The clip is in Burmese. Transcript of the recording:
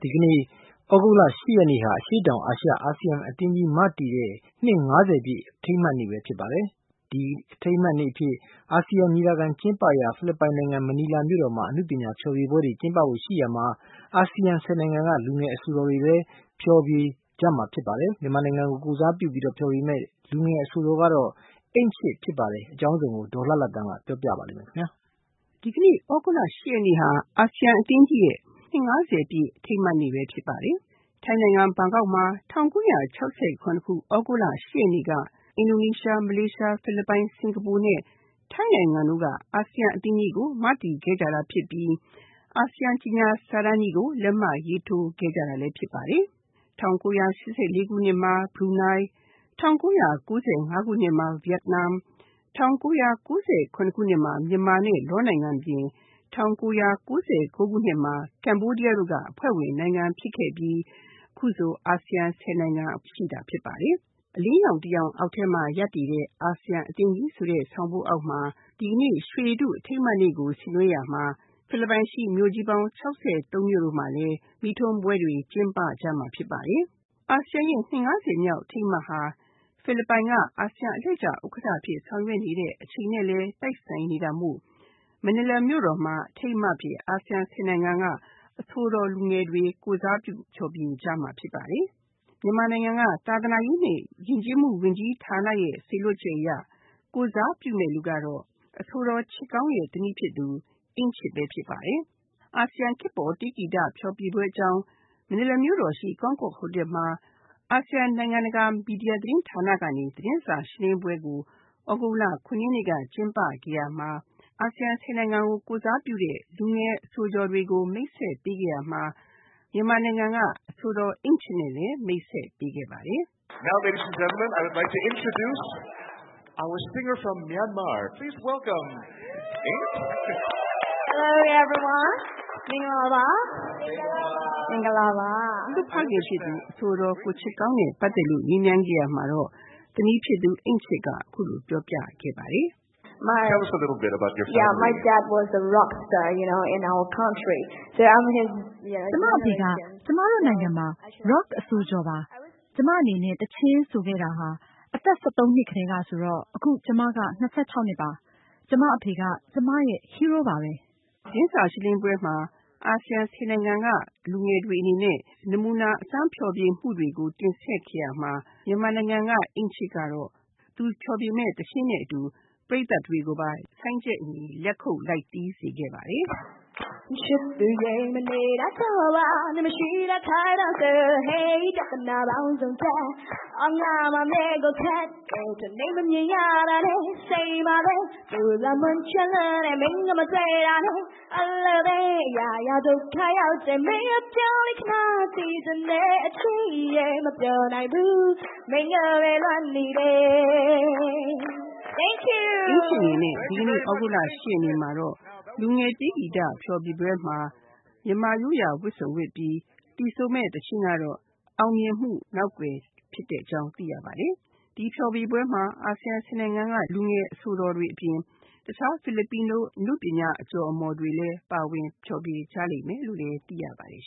ဒီကနေ့ သြဂုတ်လ ၈ ရက်နေ့ဟာအရှေ့တောင်အာရှ အာဆီယံအသင်းကြီးကို မတည်ခဲ့ကြတဲ့ နှစ် ၅၀ ပြည့်အထိမ်းအမှတ်နေ့ပဲဖြစ်ပါတယ်။ ဒီအထိမ်းအမှတ်နေ့အဖြစ် အာဆီယံညီလာခံ ကျင်းပရာ ဖိလစ်ပိုင်နိုင်င ံမနီလာမြို့တော်မှာ အနုပညာဖျော်ဖြေပွဲတွေ ကျင်းပဖို့ရှိရာမှာ အာဆီယံ ၁၀ နိုင်ငံက အဆိုတော်လူငယ်တွေလည်းဖျော်ဖြေကြမှာဖြစ်ပါတယ်။ မြန်မာနိုင်ငံကို ကိုယ်စားပြုပြီးတော့ ဖျော်ဖြေမယ့် လူငယ်အဆိုတော်ကတော့ အိမ့်ချစ်ဖြစ်ပါတယ်။ အကြောင်းစုံကို ဒေါ်လှလှသန်းက ပြောပြပါလိမ့်မယ်။ ဒီကနေ့ သြဂုတ်လ ၈ ရက်နေ့ဟာ အာဆီယံအသင်းကြီးရဲ့ နှစ် ၅၀ ပြည့်အထိမ်းအမှတ်နေ့ပဲဖြစ်ပါတယ်။ ထိုင်းနိုင်ငံဘန်ကောက်မှာ ၁၉၆၇ သြဂုတ်လ ၈ ရက်နေ့က အင်ဒိုနီးရှား၊ မလေးရှား ၊ ဖိလစ်ပိုင် ၊ စကာၤပူနဲ့ ထိုင်းနိုင်ငံတို့က အာဆီယံအသင်းကြီးကို မတည်ခဲ့ကြတာဖြစ်ပြီး အာဆီယံကြေညာစာတမ်းကြီးကို လက်မှတ်ရေးထိုးခဲ့ကြတာလည်းဖြစ်ပါတယ်။ ၁၉၈၄ ခုနှစ်မှာ ဘရူနိုင်း၊ ၁၉၉၅ ခုနှစ်မှာ ဗီယက်နမ် ၁၉၉၇ခုနှစ်မှာ မြန်မာနဲ့ Laos နိုင်ငံအပြင် ၁၉၉၉ခုနှစ်မှာ ကမ္ဘောဒီယားတို့က အဖွဲ့ဝင် နိုင်ငံဖြစ်ခဲ့ပြီး အခုဆို အာဆီယံ ၁၀ နိုင်ငံ ရှိတာဖြစ်ပါတယ်။ "အလင်းရောင်တရောင်အောက်ထဲမှာ ရပ်တည်တဲ့ အာဆီယံအသင်းကြီး"ဆိုတဲ့ ဆောင်ပုဒ်အောက်မှာ ဒီကနေ့ ရွှေရတုအထိမ်းအမှတ်နေ့ကို ဆင်နွဲရာမှာ ဖိလစ်ပိုင်ရှိမြို့ကြီးပေါင်း ၆၃ မြို့မှာလည်း မီးထွန်းပွဲတွေ ကျင်းပကြမှာဖြစ်ပါတယ်။ အာဆီယံအသင်းကြီးရဲ့ နှစ် ၅၀ ပြည့်အထိမ်းအမှတ်ဟာ ဖိလစ်ပိုင်က အာဆီယံအလှည့်ကျ ဥက္ကဋ္ဌအဖြစ်ဆောင်ရွက် နေတဲ့အချိန်နဲ့လည်း တိုက်ဆိုင်နေတာမို့ မနီလာမြို့တော်မှာ အထိမ်းအမှတ်အဖြစ် အာဆီယံ ၁၀ နိုင်ငံက အဆိုတော်လူငယ်တွေ ကိုယ်စားပြုဖျော်ဖြေကြမှာဖြစ်ပါတယ်။ မြန်မာနိုင်ငံက သာသနာရေးနဲ့ ယဉ်ကျေးမှု ဝန်ကြီးဌာနရဲ့ စေလွှတ်ချက်အရ ကိုယ်စားပြုမယ့်လူကတော့ အဆိုတော်ချစ်ကောင်းသမီးဖြစ်သူ အိမ့်ချစ်ပဲ ဖြစ်ပါတယ်။ အာဆီယံ ခေတ်ပေါ်တေးဂီတ ဖျော်ဖြေပွဲအကြောင်း မနီလာမြို့တော်ရှိ ကောင်းကော့ ဟိုတယ်မှာ အာဆီယံ နိုင်ငံတကာမီဒီယာသတင်းဌာန ကနေ သတင်းစာရှင်းလင်းပွဲကို သြဂုတ် ၇ ရက်နေ့က ကျင်းပ ခဲ့ရမှာ အာဆီယံ ၁၀ နိုင်ငံကို ကိုယ်စားပြုတဲ့ အဆိုတော်လူငယ်တွေကို မိတ်ဆက်ပေးခဲ့ရာမှာ မြန်မာနိုင်ငံက အဆိုတော် အိမ့်ချစ်နဲ့လည်း မိတ်ဆက်ပေးခဲ့ပါတယ်။ သူ့ဖခင်ဖြစ်သူ အဆိုတော်ချစ်ကောင်းနဲ့ ပတ်သက်လို့ မေးမြန်းခဲ့ရာမှာတော့ သမီးဖြစ်သူ အိမ့်ချစ်က အခုလိုပြောပြခဲ့ပါတယ်။ “ကျမအဖေက ကျမတို့နိုင်ငံမှာ Rock အဆိုတော်ပါ။ ကျမအနေနဲ့ သီချင်းဆိုခဲ့တာ အသက် ၁၃ နှစ်ကတည်းကဆိုတော့ အခုကျမက ၂၆ နှစ်ပါ ကျမအဖေက ကျမရဲ့ Hero ပါပဲ။” သတင်းစာရှင်းလင်းပွဲမှာ အာဆီယံ ၁၀ နိုင်ငံက လူငယ်တွေအနေနဲ့ နမူနာ အစမ်းဖျော်ဖြေမှုတွေကို တင်ဆက်ခဲ့ရာမှာ မြန်မာနိုင်ငံက အိမ့်ချစ်ကတော့ သူဖျော်ဖြေမယ့် သီချင်းနဲ့အတူ ပရိတ်သတ်တွေကိုပါ ဆိုင်းချက်ညီညီ လက်ခုပ်လိုက်တီးစေခဲ့ပါတယ်။ အိမ့်ချစ်အနေနဲ့ ဒီကနေ့ သြဂုတ်လ ၈ ရက်နေ့မှာတော့ လူငယ်တေးဂီတ ဖျော်ဖြေပွဲမှာ မြန်မာရိုးရာဝတ်စုံဝတ်ပြီး သီဆိုမယ့် သီချင်းကတော့ “အောင်မြင်မှုနောက်ကွယ်” ဖြစ်တဲ့အကြောင်းသိရပါတယ်။ ဒီ ဖျော်ဖြေပွဲမှာ အာဆီယံ ၁၀ နိုင်ငံက လူငယ်အဆိုတော်တွေ အပြင် တခြား Filipinoအနုပညာအကျော်အမော် တွေလည်း ပါဝင်ဖျော်ဖြေကြလိမ့်မယ်လို့လည်း သိရပါတယ်